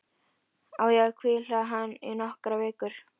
Á ég að hvíla hann í nokkrar vikur?